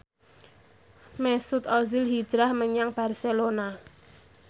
Mesut Ozil hijrah menyang Barcelona